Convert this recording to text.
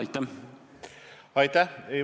Aitäh!